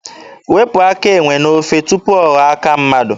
Wepụ aka enwe n'ofe tupu ọ ghọọ aka mmadụ!